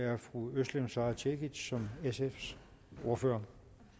er fru özlem sara cekic som sfs ordfører